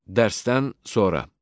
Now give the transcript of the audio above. Dərsdən sonra.